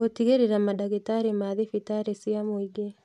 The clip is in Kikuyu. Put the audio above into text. Gutigĩrĩra mandagĩtarĩ ma thibitarĩ cia mũingĩ